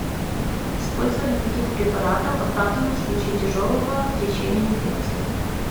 использование каких препаратов оправдано в случае тяжелого течения инфекции